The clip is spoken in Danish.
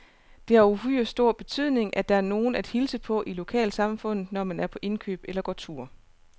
Det har uhyre stor betydning, at der er nogen at hilse på i lokalsamfundet, når man er på indkøb eller går tur.